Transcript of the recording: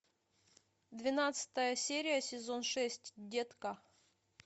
двенадцатая серия сезон шесть детка